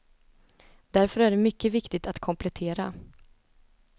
Därför är det mycket viktigt att komplettera.